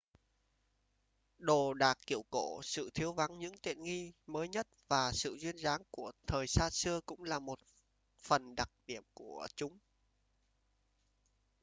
đồ đạc kiểu cổ sự thiếu vắng những tiện nghi mới nhất và sự duyên dáng của thời xa xưa cũng là một phần đặc điểm của chúng